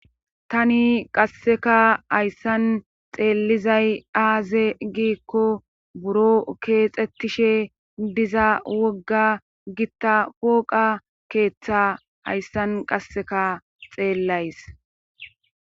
Tani qasseka hayssan xeellizay aaze giikko buro keexxettishe diza wogga gitta pooqa keeththa hayssan qasseka xeellays.